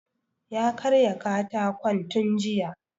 Ya karya katakon tun jiya